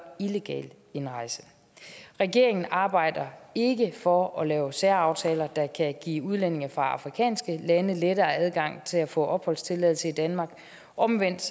illegal indrejse regeringen arbejder ikke for at lave særaftaler der kan give udlændinge fra afrikanske lande lettere adgang til at få opholdstilladelse i danmark omvendt